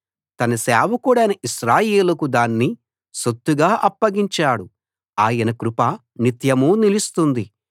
తన సేవకుడైన ఇశ్రాయేలుకు దాన్ని సొత్తుగా అప్పగించాడు ఆయన కృప నిత్యమూ నిలుస్తుంది